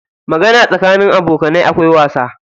Magana tsakanin abokanai akwai wasa.